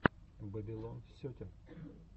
бэбилон сетин